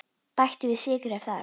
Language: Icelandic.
Bættu við sykri ef þarf.